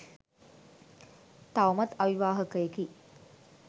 තවමත් අවිවාහකයෙකි.